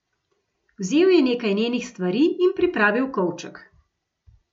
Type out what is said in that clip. Vzel je nekaj njenih stvari in pripravil kovček.